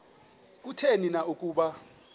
kutheni na ukuba